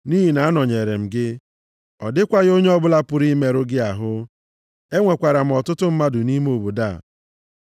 Nʼihi na anọnyeere m gị. Ọ dịkwaghị onye ọbụla pụrụ imerụ gị ahụ. Enwekwara m ọtụtụ mmadụ nʼime obodo a.”